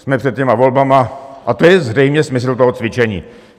Jsme před těmi volbami a to je zřejmě smysl toho cvičení.